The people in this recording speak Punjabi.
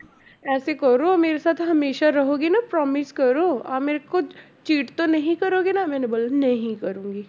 ਐਸੇ ਕਰੋ ਮੇਰੇ ਸਾਥ ਹਮੇਸ਼ਾ ਰਹੋਗੇ ਨਾ promise ਕਰੋ ਆਹ ਮੇਰੇ ਕੋ cheat ਤੋ ਨਹੀਂ ਕਰੋਗੇ ਨਾ ਮੈਨੇ ਬੋਲਾ ਨਹੀਂ ਕਰੂੰਗੀ।